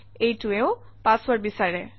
এইটোৱেও password বিচাৰে